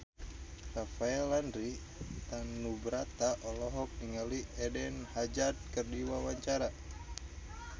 Rafael Landry Tanubrata olohok ningali Eden Hazard keur diwawancara